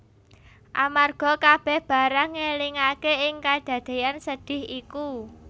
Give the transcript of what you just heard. Amarga kabèh barang ngelingaké ing kadadéyan sedhih iku